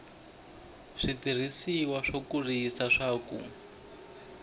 switirhisiwa swo kurisa swa ku